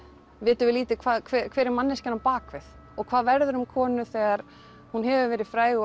vitum við lítið hver er manneskjan á bak við og hvað verður um konu þegar hún hefur verið fræg